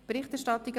«Berichterstattung